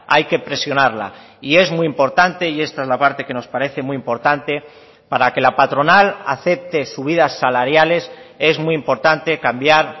hay que presionarla y es muy importante y esta es la parte que nos parece muy importante para que la patronal acepte subidas salariales es muy importante cambiar